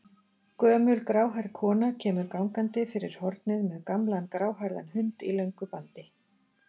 Gömul gráhærð kona kemur gangandi fyrir hornið með gamlan gráhærðan hund í löngu bandi.